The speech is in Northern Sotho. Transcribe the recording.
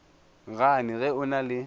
gane ge o na le